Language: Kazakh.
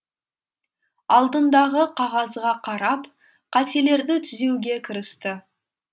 алдындағы қағазға қарап қателерді түзеуге кірісті